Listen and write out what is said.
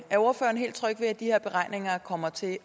er ordføreren helt tryg ved at de her beregninger kommer til